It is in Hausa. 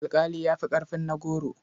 Alƙali ya fi ƙarfin na goro.